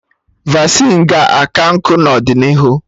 Vasịn ga-aka nkụ n'ọdịnihu